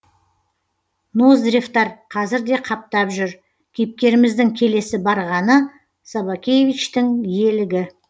ноздревтар қазір де қаптап жүр кейіпкеріміздің келесі барғаны собакевичтің иелігі